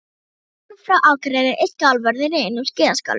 Kunningi minn frá Akureyri er skálavörður í einum skíðaskálanum.